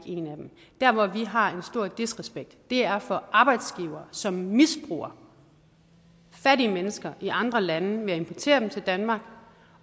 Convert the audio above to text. en af dem der hvor vi har en stor disrespekt er for arbejdsgivere som misbruger fattige mennesker i andre lande ved at importere dem til danmark